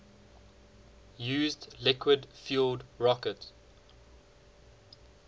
used liquid fueled rocket